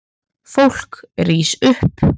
Fólk rís upp.